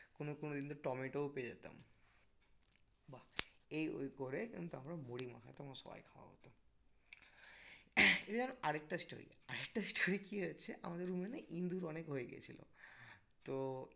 কোনো কোনো দিন তো টমেটোও পেয়ে যেতাম বাহ এই ওই করে আমি তখন মুড়ি মাখাতাম আর সবাই খাওয়া হতো এবার আরেকটা story আরেকটা story কি হয়েছে আমাদের room এ ইন্দুর অনেক হয়ে গিয়েছিলো তো